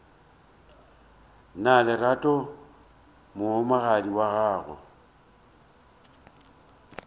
na lerato mohumagadi wa gago